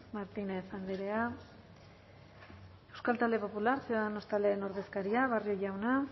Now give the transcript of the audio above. martínez andrea euskal talde popular ciudadanos taldearen ordezkaria barrio jauna